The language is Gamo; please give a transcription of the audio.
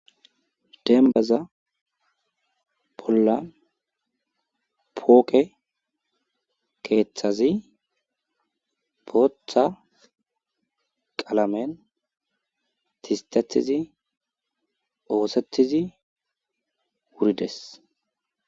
Dembbaza bolla pooqe keethazi bootha qalen thisttettidi oosettidi wurides.